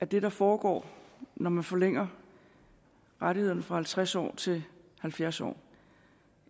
det der foregår når man forlænger rettighederne fra halvtreds år til halvfjerds år